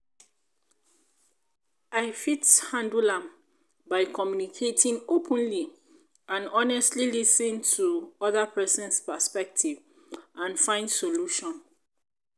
i fit handle am by communicating openly and honestly lis ten to oda person's perspective and find solution.